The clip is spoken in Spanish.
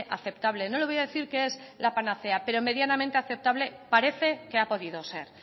aceptable no le voy a decir que es la panacea pero medianamente aceptable parece que ha podido ser